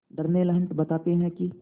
Darnell Hunt बताते हैं कि